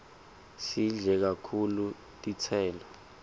sidle kakhulu titselo